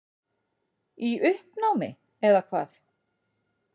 Í uppnámi, eða hvað?